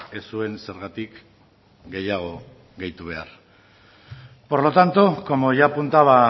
ez zuen zergatik gehiago gehitu behar por lo tanto como ya apuntaba